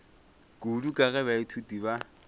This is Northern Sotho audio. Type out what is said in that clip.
kudu ka ge baithuti ba